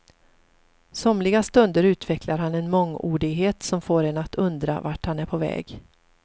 Somliga stunder utvecklar han en mångordighet som får en att undra vart han är på väg.